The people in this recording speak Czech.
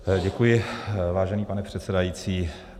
Děkuji, vážený pane předsedající.